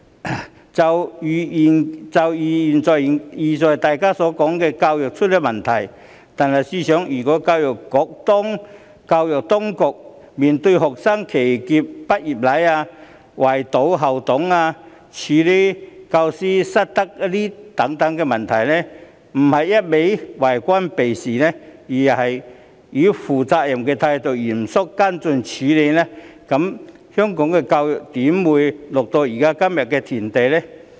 例如現在大家經常詬病的教育問題，試想教育局當初面對學生騎劫畢業禮、圍堵校董、處理教師失德等問題時，若不一個勁兒以為官避事的態度面對，而是以負責任的態度嚴肅跟進處理，香港的教育又怎會淪落到今日的田地？